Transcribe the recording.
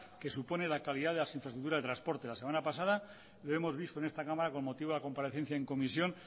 que supone la calidad de las infraestructuras de transporte la semana pasada lo hemos visto en esta cámara con motivo de la comparecencia en comisión